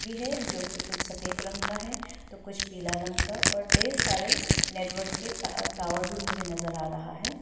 है जोकि कुछ सफेद रंग का है तो कुछ पीला रंग का और ढेर सारे नेटवर्क के टा टावर भी मुझे नजर आ रहा है।